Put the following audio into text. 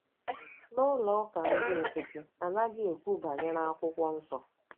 N’ụlọ ụka ndị nkịtị, a naghị ekwu banyere akwụkwọ nsọ